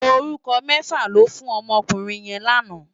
Órúkò mèfá lò fú n òmò òkúrin yèn làná